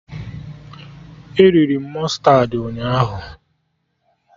E riri m mụstardị ụnyaahụ